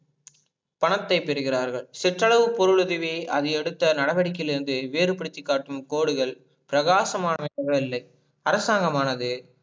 பணத்தை பெறுகிறார்கள் சிற்றளவு பொருளுதவி அதை எடுத்த நடவடிகையிலருந்து வேறுப்படுத்தி காட்டும் கோடுகள் பிராகாசமாக இல்லை அரசாங்கமானது